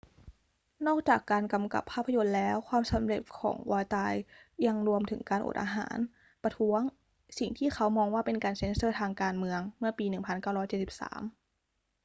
นอกจากการกำกับภาพยนตร์แล้ว ความสำเร็จของ vautier ยังรวมถึงการอดอาหารประท้วงสิ่งที่เขามองว่าเป็นการเซ็นเซอร์ทางการเมืองเมื่อปี 1973